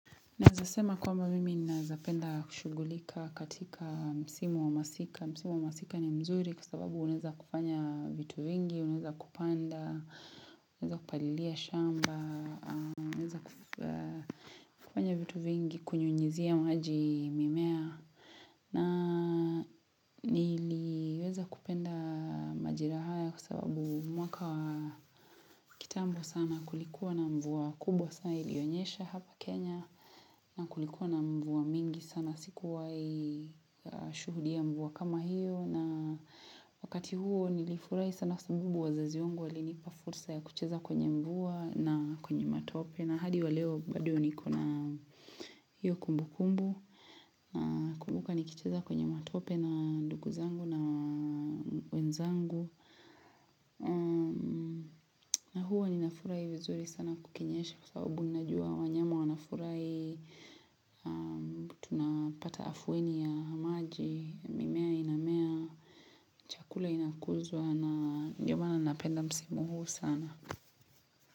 Naweza sema kwamba mimi nawezapenda kushugulika katika msimu wa masika. Msimu wa masika ni mzuri kwa sababu unaweza kufanya vitu vingi, uneza kupanda, uneweza kupalilia shamba, unaweza kufanya vitu vingi, kunyunyizia maji mimea. Na niliweza kupenda majira haya kwa sababu mwaka wa kitambo sana kulikuwa na mvua kubwa sana ilionyesha hapa Kenya. Na kulikuwa na mvua mingi sana sikuwahi shuhudia mvua kama hiyo na wakati huo nilifurahi sana sabubu wazazi wangu walinipa fursa ya kucheza kwenye mvua na kwenye matope na hadi wa leo bado niko na hiyo kumbu kumbu nakumbuka nikicheza kwenye matope na ndugu zangu na wenzangu na huo ninafurai vizuri sana kukinyeshe kwa sababu ninajua wanyama wanafurahi tunapata afueni ya maji, mimea inamea Chakula inakuzwa na ndio maana napenda msimu huu sana.